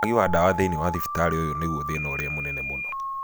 Wagi wa dawa thĩinĩ wa thibitarĩ ũyũ nĩguo thĩna ũrĩa munene mũno.